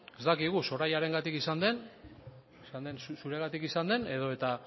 ez dakigu sorayarengatik izan den zuregatik izan den edo eta